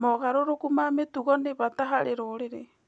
Mogarũrũku ma mĩtugo nĩ bata harĩ rũrĩrĩ.